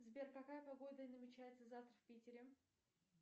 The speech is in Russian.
сбер какая погода намечается завтра в питере